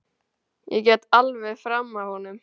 Ég gekk alveg fram af honum.